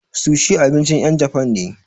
Sushi abincin ƴen japan ne.